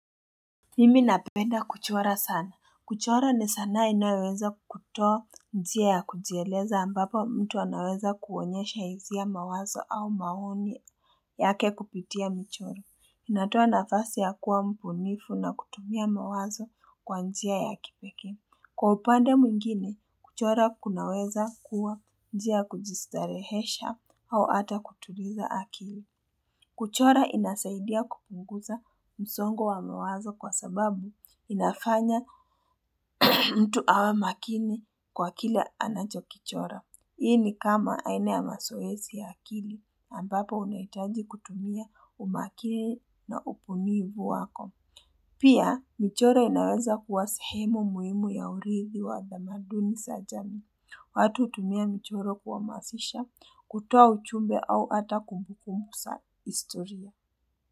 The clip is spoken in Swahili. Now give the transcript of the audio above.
Mimi napenda kuchora sana. Kuchora ni sanaa inayoweza kutoa njia ya kujieleza ambapo mtu anaweza kuonyesha hisia mawazo au maoni yake kupitia michoro. Inatoa nafasi ya kuwa mbunifu na kutumia mawazo kwa njia ya kipeke. Kwa upande mwingine, kuchora kunaweza kuwa njia ya kujistarehesha au hata kutuliza akili. Kuchora inasaidia kupunguza msongo wa mawazo kwa sababu inafanya mtu awa makini kwa kile anacho kichora. Hii ni kama aina ya mazoezi ya akili ambapo unaitaji kutumia umakini na upunivu wako. Pia, michoro inaweza kuwa sehemu muhimu ya urithi wa dhamaduni za jamii. Watu hutumia michoro kuhamasisha kutua uchumbe au ata kumbukumusa historia. Kwa hivyo.